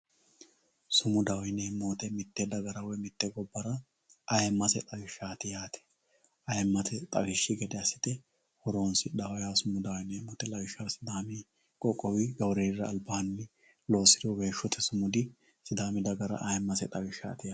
sumudaho yineemmo woyiite mitte gobbara woy mitte gobbara aymase xawishshaati yaate aymate xawishshi gede assite horoonsidhawooho sumudaho yineemmo woyiite lawishshaho sidaami qoqqowi gawureelira albaanni loosidhinohu weeshshote sumudi sidaami dagara aymase xawishshaati yaate